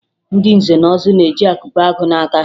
Ndị nze na ọzọ na-eji akụpe agụ n'aka